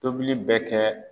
Tobili bɛ kɛ